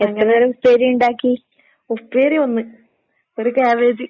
ഉപ്പേരി ഒന്ന്, ഒര് ക്യാബേജ്.